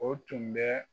O tun bɛ